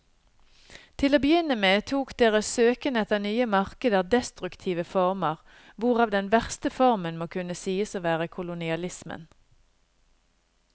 Til å begynne med tok deres søken etter nye markeder destruktive former, hvorav den verste formen må kunne sies å være kolonialismen.